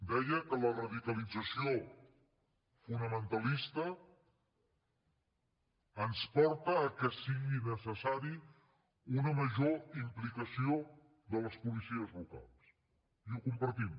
deia que la radicalització fonamentalista ens porta que sigui necessària una major implicació de les policies locals i ho compartim